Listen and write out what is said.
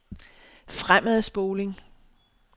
fremadspoling